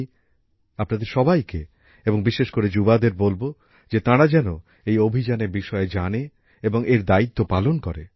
আমি আপনাদের সবাইকে এবং বিশেষকরে যুবাদের বলব যে তারা যেন এই অভিযানের বিষয়ে জানে এবং এর দায়িত্ব পালন করে